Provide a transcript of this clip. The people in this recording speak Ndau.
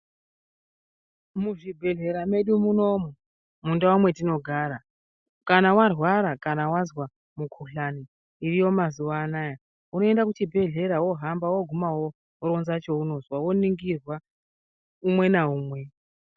Muzvibhehlera medu munomu mundau mwatinogara kana wairwara wazwa mukuhlani iriyo mazuva ano aya unoenda kuchibhedhlera wohamba woguma woronza chirwere chaunozwa woningirwa umwe naumwe.